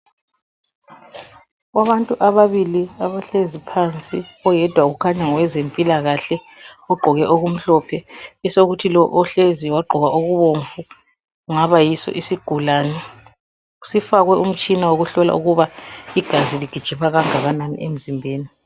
Kubantu ababili abahlezi phansi oyedwa ukhanya ngowezempilakahle ogqoke okumhlophe besokuthi lo ohlezi wagqoka okubomvu kungaba yiso isigulane, sifakwe umtshina wokuhlola ukuba igazi ligijima kangakanani emzimbeni.